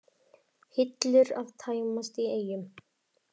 Hillur að tæmast í Eyjum